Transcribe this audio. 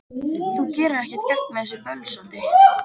Þú gerir ekkert gagn með þessu bölsóti,